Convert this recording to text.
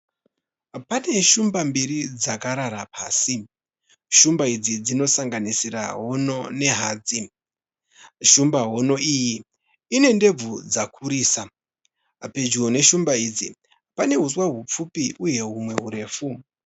Pane shumba mbiri dzakarara pasi. Shumba idzi dzinosanganisira hono nehadzi. Shumba hono iyi ine ndebvu dzakurisa. Pedyo neshumba idzi, pane huswa hupfupi uye humwe hurefu.